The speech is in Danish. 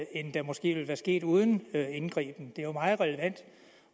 end det måske ville være sket uden indgriben det er jo meget relevant